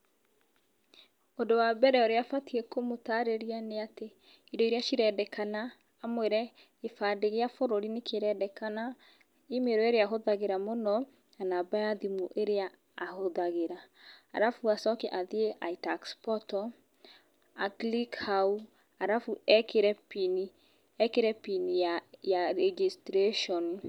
Ũndũ wa mbere ũrĩa ũbatĩ kũmũtarĩria nĩatĩ, indo iria cirendekana, ũmwĩre gĩbandĩ gĩa bũrũri nĩ kĩrendekana, email ĩrĩa ahũthagĩra mũno na namba ya thimũ ĩrĩa ahũthagĩra, alafu acoke athiĩ itax portal a click hau alafu ekĩre pin ya registration.